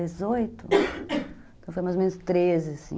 Então, foi mais ou menos treze, assim.